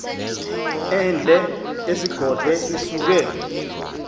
ende ezigodlo isuke